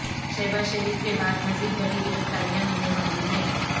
شہبازشریف کے بعد مزید بڑی گرفتاریاں ہونے والی ہیں